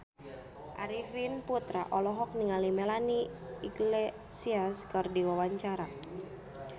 Arifin Putra olohok ningali Melanie Iglesias keur diwawancara